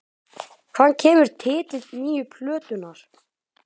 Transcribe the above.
Hvaðan kemur titill nýju plötunnar?